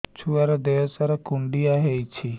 ଛୁଆର୍ ଦିହ ସାରା କୁଣ୍ଡିଆ ହେଇଚି